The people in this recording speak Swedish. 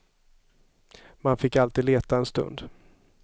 Man fick alltid leta en stund.